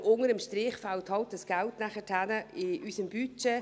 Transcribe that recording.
Aber unter dem Strich fehlt das Geld dann in unserem Budget.